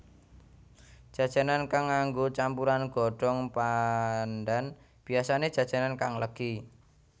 Jajanan kang nganggo campuran godhong pandan biyasané jajanan kang legi